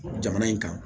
Jamana in kan